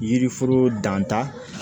Yiriforo danta